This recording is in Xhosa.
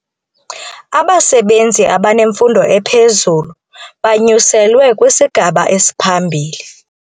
Abasebenzi abanemfundo ephezulu banyuselwe kwisigaba esiphambili.